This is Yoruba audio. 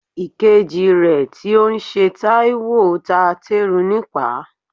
Ìkejì rẹ tí ó ń ṣe Taiwo ta teru nípaa.